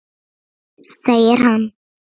Segir hann.